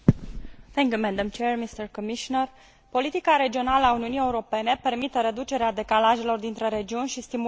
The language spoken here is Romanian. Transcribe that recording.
Politica regională a Uniunii Europene permite reducerea decalajelor dintre regiuni și stimularea dezvoltării și a creării de locuri de muncă.